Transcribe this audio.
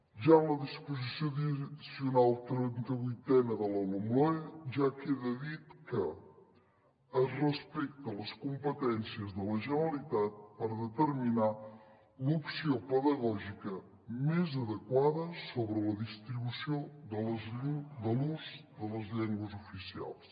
ja en la disposició addicional trenta vuitena de la lomloe queda dit que es respecten les competències de la generalitat per determinar l’opció pedagògica més adequada sobre la distribució de l’ús de les llengües oficials